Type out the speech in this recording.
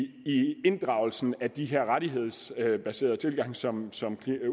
inddragelsen af de her rettighedsbaserede tilgange som som